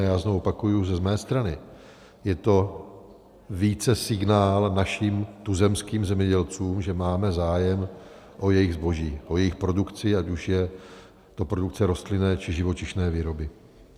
A já znovu opakuji, že z mé strany je to více signál našim tuzemským zemědělcům, že máme zájem o jejich zboží, o jejich produkci, ať už je to produkce rostlinné, či živočišné výroby.